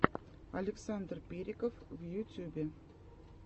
александр периков в ютьюбе